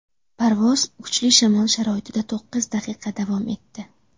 Parvoz kuchli shamol sharoitida to‘qqiz daqiqa davom etdi.